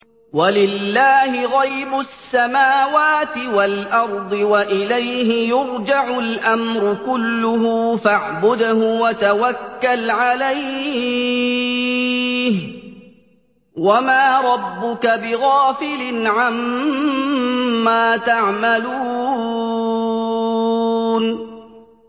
وَلِلَّهِ غَيْبُ السَّمَاوَاتِ وَالْأَرْضِ وَإِلَيْهِ يُرْجَعُ الْأَمْرُ كُلُّهُ فَاعْبُدْهُ وَتَوَكَّلْ عَلَيْهِ ۚ وَمَا رَبُّكَ بِغَافِلٍ عَمَّا تَعْمَلُونَ